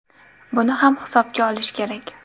Buni ham hisobga olish kerak.